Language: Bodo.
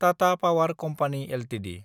Tata power company Ltd